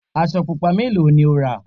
aṣọ pupa mélòó ni o rà?